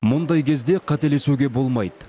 мұндай кезде қателесуге болмайды